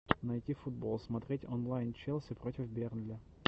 найти футбол смотреть онлайн челси против бернли